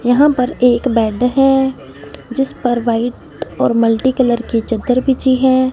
यहां पर एक बेड है जिस पर वाइट और मल्टी कलर के चदर बिछी है।